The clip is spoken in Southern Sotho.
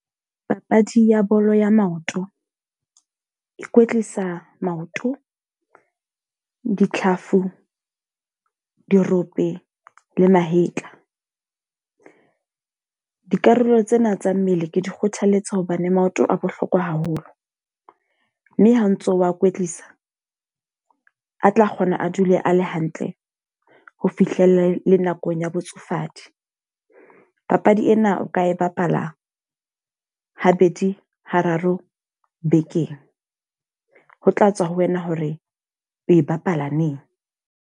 Papadi ya bolo ya maoto. E kwetlisa maoto, ditlhafu, dirope le mahetla. Dikarolo tsena tsa mmele ke di kgothaletsa hobane maoto a bohlokwa haholo. Mme ha o ntso wa kwetlisa, a tla kgona a dule a le hantle ho fihlela le nakong ya botsofadi. Papadi ena o ka e bapala ha bedi, ha raro bekeng. Ho tla tswa ho wena hore o e bapala neng.